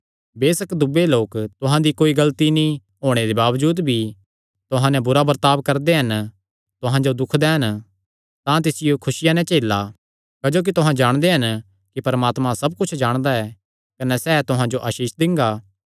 बेसक दूये लोक तुहां दी कोई गलती नीं होणे दे बावजूद भी तुहां नैं बुरा बर्ताब करदे कने तुहां जो दुख दैन तां तिसियो खुसिया नैं झेला क्जोकि तुहां जाणदे हन कि परमात्मा सब कुच्छ जाणदा ऐ कने सैह़ तुहां जो आसीष दिंगा